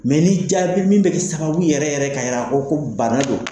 ni jaabi min be kɛ sababu yɛrɛ yɛrɛ ka yira ko bana don